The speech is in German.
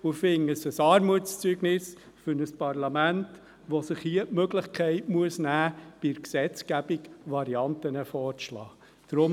Ich finde es ein Armutszeugnis für ein Parlament, wenn es sich hier die Möglichkeit nehmen muss, bei der Gesetzgebung Varianten vorzuschlagen.